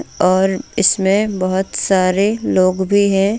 और इसमें बहोत सारे लोग भी है.